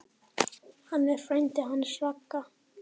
Hann er frændi hans Ragga.